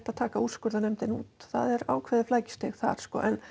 að taka úrskurðunar nefndina út það er ákveðið flækjustig þar